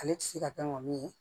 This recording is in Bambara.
Ale ti se ka kɛ ŋɔmi ye